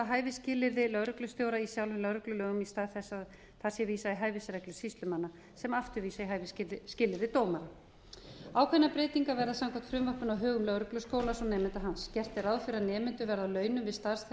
hæfisskilyrði lögreglustjóra í sjálfum lögreglulögum í stað þess að það sé vísað í hæfisreglur sýslumanna sem aftur vísi í hæfisskilyrði dómara ákveðnar breytingar verða samkvæmt frumvarpinu á högum lögregluskólans og nemenda hans gert er ráð fyrir að nemendur verði á launum við starfsþjálfun innan lögreglunnar á